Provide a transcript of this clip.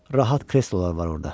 Rahat kreslolar var orda.